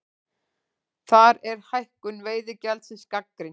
Þar er hækkun veiðigjaldsins gagnrýnd